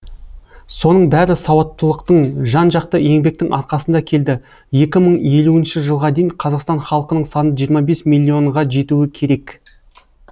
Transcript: соның бәрі сауаттылықтың жан жақты еңбектің арқасында келді екі мың елуінші жылға дейін қазақстан халқының саны жиырма бес миллион ға жетуі керек